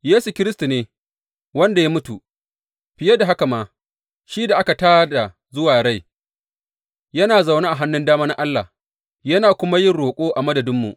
Yesu Kiristi ne, wanda ya mutu, fiye da haka ma, shi da aka tā da zuwa rai, yana zaune a hannun dama na Allah yana kuma yin roƙo a madadinmu.